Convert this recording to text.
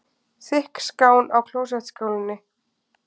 Þykk skán í klósettskálinni.